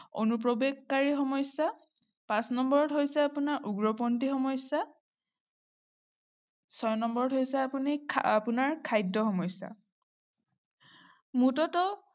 অনুপ্ৰবেশকাৰীৰ সমস্যা, পাঁচ নম্বৰত হৈছে আপোনাৰ উগ্ৰপন্থীৰ সমস্যা ছয় নম্বৰত হৈছে আপুনি আপোনাৰ খাদ্য সমস্যা মুতত